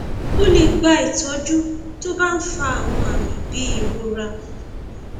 ó lè gba ìtọjú tó bá ń fa àwọn àmì bíi ìrora